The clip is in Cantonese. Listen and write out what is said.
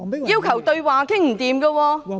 要求對話也談不攏......